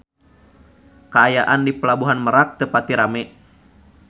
Kaayaan di Pelabuhan Merak teu pati rame